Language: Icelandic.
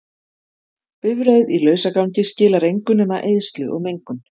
Bifreið í lausagangi skilar engu nema eyðslu og mengun.